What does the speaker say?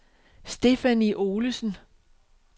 Stephanie Olesen